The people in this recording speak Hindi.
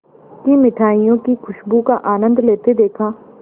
की मिठाइयों की खूशबू का आनंद लेते देखा